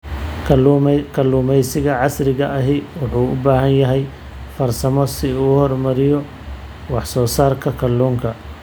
Kalluumaysiga casriga ahi waxa uu baahan yahay farsamo si loo horumariyo wax soo saarka kalluunka.